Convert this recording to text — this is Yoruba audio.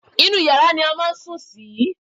Inú yàrá ni a máa ń sùn sí